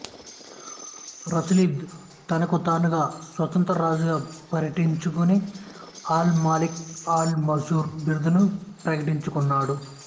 Rasulid తనకుతానుగా స్వతంత్ర రాజుగా ప్రకటించుజుని అల్ మాలిక్ అల్ మంసూర్ బిరుదును ప్రకటించుకున్నాడు